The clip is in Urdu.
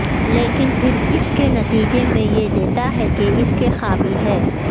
لیکن پھر اس کے نتیجے میں یہ دیتا ہے کہ اس کے قابل ہے